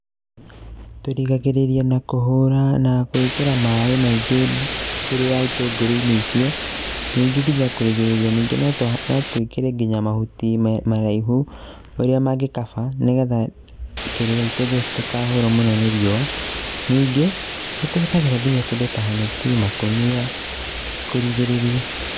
Tũrigagĩrĩria na kũhũra, na gwĩkĩra maĩ maingĩ kĩrĩa, itũngũrũ-inĩ icio, ningĩ nginya kũrigĩrĩria ningĩ no twĩkĩre nginya mahuti maraihu marĩa mangĩkaba, nĩgetha kĩrĩa itũngũrũ citikahurwo mũno nĩ riũa. Ningĩ nĩ tũhũthagĩra nginya kĩndũ ta neti, makũnia kũrigĩrĩria.